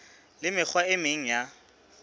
le mekgwa e meng ya